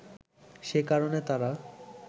সে কারণে তারা